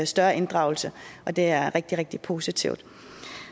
større inddragelse og det er rigtig rigtig positivt